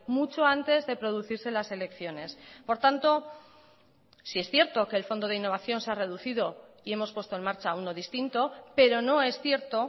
mucho antes de producirse las elecciones por tanto sí es cierto que el fondo de innovación se ha reducido y hemos puesto en marcha uno distinto pero no es cierto